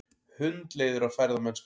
Hundleiðir á ferðamennskunni